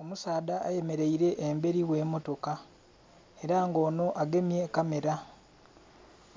Omusaadha ayemereire emberi ghe motoka era nga onho agemye kamera,